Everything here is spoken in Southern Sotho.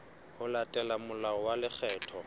ho latela molao wa lekgetho